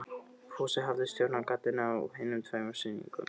Fúsi hafði stjórnað gatinu á hinum tveimur sýningunum.